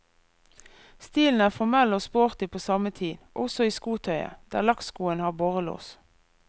Stilen er formell og sporty på samme tid, også i skotøyet, der lakkskoene har borrelås.